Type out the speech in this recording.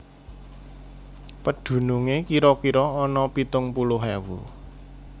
Pedunungé kira kira ana pitung puluh ewu